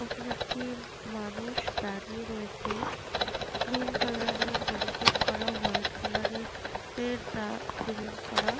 ওখানে একটি মানুষ দাঁড়িয়ে রয়েছে গ্রীন কালার -এর বেরিকেট করা ওয়াইট কালার -এর এর সিমেন্ট করা ।